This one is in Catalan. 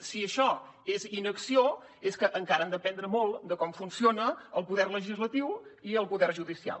si això és inacció és que encara han d’aprendre molt de com funcionen el poder legislatiu i el poder judicial